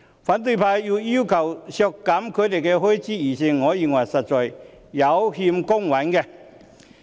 反對派要求削減他們的預算開支，我認為實在有欠公允。